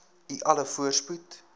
u alle voorspoed